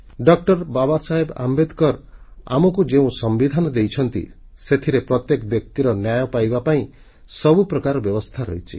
ଡଃ ବାବାସାହେବ ଆମ୍ବେଦକର ଆମକୁ ଯେଉଁ ସମ୍ବିଧାନ ଦେଇଛନ୍ତି ସେଥିରେ ପ୍ରତ୍ୟେକ ବ୍ୟକ୍ତିର ନ୍ୟାୟ ପାଇବା ପାଇଁ ସବୁ ପ୍ରକାର ବ୍ୟବସ୍ଥା ରହିଛି